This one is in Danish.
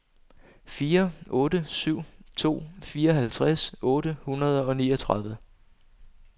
fire otte syv to fireoghalvtreds otte hundrede og niogtredive